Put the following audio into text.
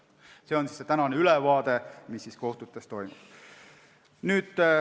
See on ülevaade sellest, mis praegu kohtutes toimub.